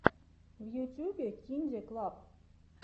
в ютюбе кинде клаб